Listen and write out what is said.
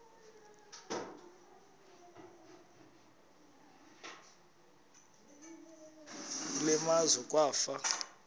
kule meazwe kwafa